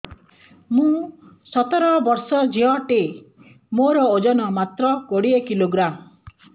ମୁଁ ସତର ବର୍ଷ ଝିଅ ଟେ ମୋର ଓଜନ ମାତ୍ର କୋଡ଼ିଏ କିଲୋଗ୍ରାମ